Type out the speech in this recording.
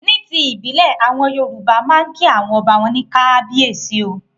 Ní ti ìbílẹ̀, àwọn Yorùbá máa ń kí àwọn ọba wọn ní 'Kábíyèsí o'.